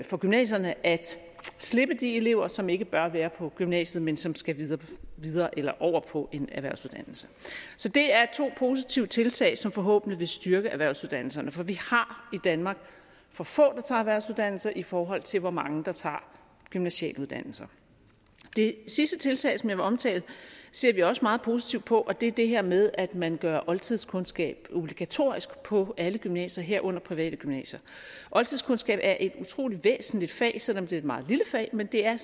for gymnasierne at slippe de elever som ikke bør være på gymnasiet men som skal videre eller over på en erhvervsuddannelse så det er to positive tiltag som forhåbentlig vil styrke erhvervsuddannelserne for vi har i danmark for få der tager erhvervsuddannelser i forhold til hvor mange der tager gymnasiale uddannelser det sidste tiltag som jeg vil omtale ser vi også meget positivt på og det er det her med at man gør oldtidskundskab obligatorisk på alle gymnasier herunder private gymnasier oldtidskundskab er et utrolig væsentligt fag selv om det er et meget lille fag men det er